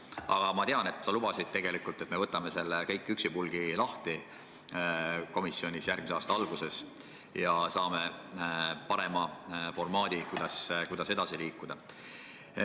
Aga ma tean, et sa lubasid, et me võtame selle kõik üksipulgi komisjonis järgmise aasta alguses lahti ja saame parema formaadi, kuidas edasi liikuda.